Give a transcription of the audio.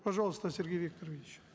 пожалуйста сергей викторович